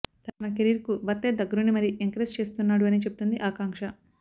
తన కెరీర్ కు భర్తే దగ్గరుండి మరీ ఎంకరేజ్ చేస్తున్నాడు అని చెబుతుంది ఆకాంక్ష